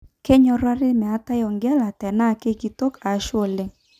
Kenyorari metae orgela tena kenkitok ashu ole.